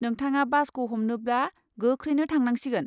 नोंथाङा बासखौ हमनोब्ला गोख्रैनो थांनांसिगोन।